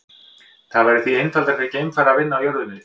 Það væri því einfaldara fyrir geimfara að vinna á jörðu niðri.